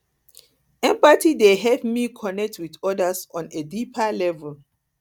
empathy dey help me connect with others on a deeper level